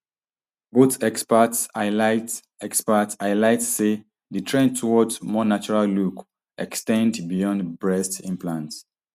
both experts highlight experts highlight say di trend toward more natural look ex ten d beyond breast implants